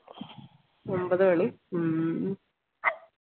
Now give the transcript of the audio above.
ഒമ്പത് മണി ഹും